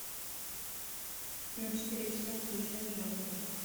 на четыре часа отключай жалюзи